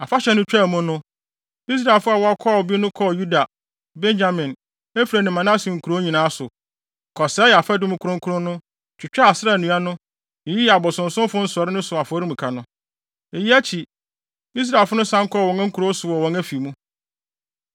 Afahyɛ no twaa mu no, Israelfo a wɔkɔɔ bi no kɔɔ Yuda, Benyamin, Efraim ne Manase nkurow nyinaa so, kɔsɛee afadum kronkron no, twitwaa Asera nnua no, yiyii abosonsomfo nsɔree so ne afɔremuka no. Eyi akyi, Israelfo no san kɔɔ wɔn nkurow so ne wɔn afi mu.